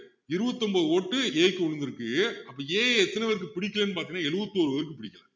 இருபத்து ஒன்பது vote A க்கு விழுந்திருக்கு அப்போ A எ எத்தனை பேருக்கு பிடிக்கலன்னு பாத்திங்கன்னா எழுபத்தொரு பேருக்கு பிடிக்கல